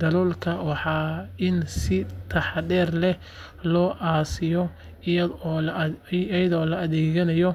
daloolka waa in si taxaddar leh loo aasiyaa iyadoo la adkeeyo